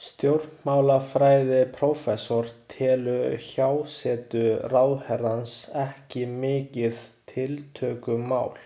Stjórnmálafræðiprófessor telur hjásetu ráðherrans ekki mikið tiltökumál.